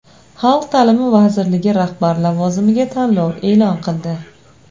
Xalq ta’limi vazirligi rahbar lavozimiga tanlov e’lon qildi.